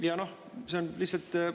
Ja see on lihtsalt …